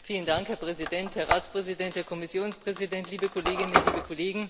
Herr Präsident, Herr Ratspräsident, Herr Kommissionspräsident, liebe Kolleginnen und Kollegen!